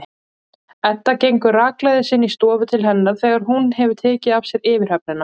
Edda gengur rakleiðis inn í stofu til hennar þegar hún hefur tekið af sér yfirhöfnina.